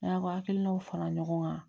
N'a hakilinaw fara ɲɔgɔn kan